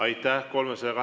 Aitäh!